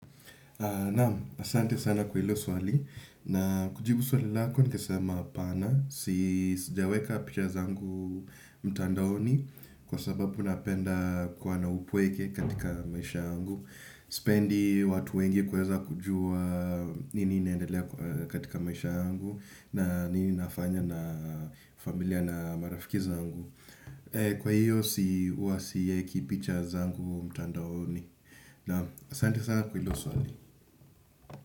Naam, asante sana kwa hilo swali na kujibu swali lako. Ningesema hapana, sijaweka picha zangu mtandaoni kwa sababu napenda upweke katika maisha yangu. Sipendi watu wengi kuweza kujua nini inaendelea katika maisha yangu na nini nafanya na familia na marafiki zangu. Kwa hiyo huwa siweki picha zangu mtandaoni. Naam, asante sana kwa hilo swali.